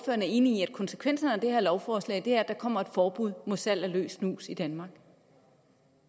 er enig i at konsekvenserne af det her lovforslag er at der kommer et forbud mod salg af løs snus i danmark